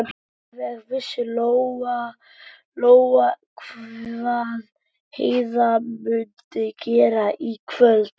Alveg vissi Lóa-Lóa hvað Heiða mundi gera í kvöld.